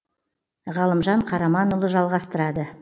ғалымжан қараманұлы жалғастырады